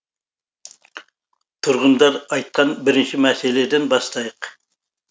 тұрғындар айтқан бірінші мәселеден бастайық